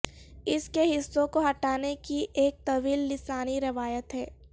اس کے حصوں کو ہٹانے کی ایک طویل لسانی روایت ہے